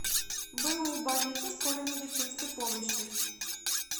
бу больница скорой медицинской помощи